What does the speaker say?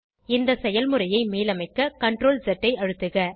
இந்த செயல்முறையை மீளமைக்க CTRLZ ஐ அழுத்துக